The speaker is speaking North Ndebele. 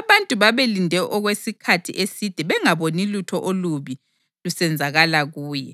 Abantu babelinde okwesikhathi eside bengaboni lutho olubi lusenzakala kuye,